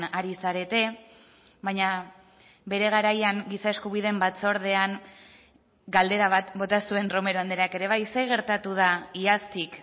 ari zarete baina bere garaian giza eskubideen batzordean galdera bat bota zuen romero andreak ere bai zer gertatu da iaztik